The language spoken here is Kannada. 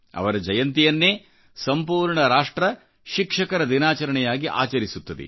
ಅವರಜಯಂತಿಯನ್ನೇ ಸಂಪೂರ್ಣ ರಾಷ್ಟ್ರ ಶಿಕ್ಷಕರ ದಿನಾಚರಣೆಯಾಗಿ ಆಚರಿಸುತ್ತದೆ